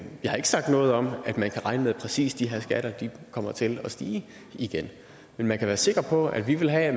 jeg har ikke sagt noget om at man kan regne med at præcis de her skatter kommer til at stige igen men man kan være sikker på at vi vil have at